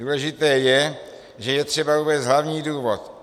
Důležité je, že je třeba uvést hlavní důvod.